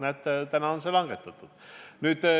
Näete, tänaseks on see langetatud.